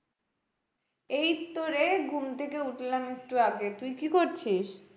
এই তোরে ঘুম থেকে উঠলাম একটু আগে, তুই কি করছিস?